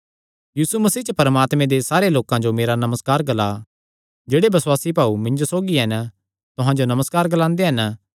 यीशु मसीह च परमात्मे दे सारे लोकां जो मेरा नमस्कार ग्ला जेह्ड़े बसुआसी भाऊ मिन्जो सौगी हन तुहां जो नमस्कार ग्लांदे हन